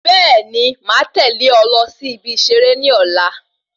Bẹẹni, máa tẹlé ọ lọ sí ibi iṣere ní ọ̀la